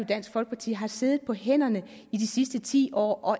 dansk folkeparti har siddet på hænderne i de sidste ti år og